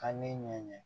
Ka ne ɲɛɲɛ